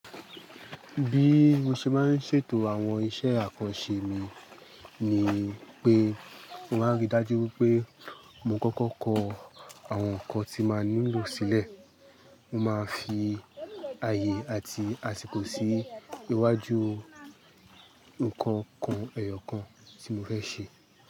Bí mo ṣe máa ń ṣètò àwọn iṣẹ́ àkọse mi ni pé mo máa ń rí dájú pé mo kọ́kọ́ kọ àwọn nǹkan tí màá nílò sílẹ̀. Mo máa fi àyè àti àsìkò sí iwájú nǹkan ku ẹyọ kan tí mo fẹ́ ṣe.